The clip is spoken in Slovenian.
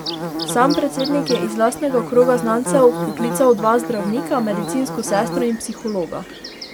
Sam predsednik je iz lastnega kroga znancev vpoklical dva zdravnika, medicinsko sestro in psihologa.